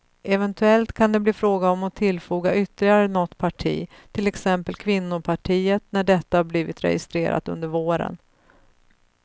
Eventuellt kan det bli fråga om att tillfoga ytterligare något parti, till exempel kvinnopartiet när detta blivit registrerat under våren.